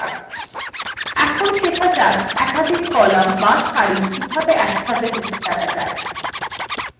এখন শেখা যাক একাধিক কলাম বা সারি কিভাবে একসাথে মুছে ফেলা যায়